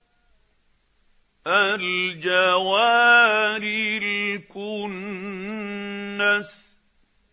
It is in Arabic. الْجَوَارِ الْكُنَّسِ